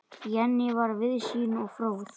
Jenný var víðsýn og fróð.